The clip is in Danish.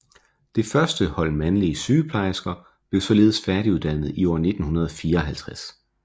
Det første hold mandlige sygeplejersker blev således færdiguddannet i år 1954